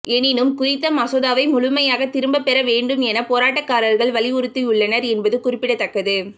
எனினும் குறித்த மசோதாவை முழுமையாக திரும்பப்பெற வேண்டும் என போராட்டக்காரர்கள் வலியுறுத்தியுள்ளனர் என்பது குறிப்பிடத்தக்கது